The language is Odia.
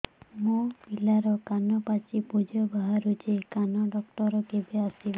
ମୋ ପିଲାର କାନ ପାଚି ପୂଜ ବାହାରୁଚି କାନ ଡକ୍ଟର କେବେ ଆସିବେ